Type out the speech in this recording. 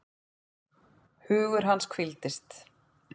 Hugur hans hvíldist.